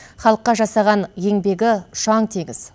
халыққа жасаған еңбегі ұшаң теңіз